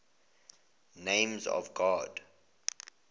names of god